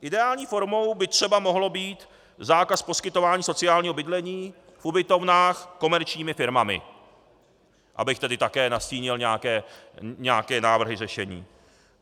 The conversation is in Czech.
Ideální formou by třeba mohl být zákaz poskytování sociálního bydlení v ubytovnách komerčními firmami, abych tedy také nastínil nějaké návrhy řešení.